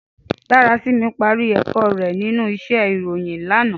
Darasimi pàrí èkò rè ninú íṣè iróyin làná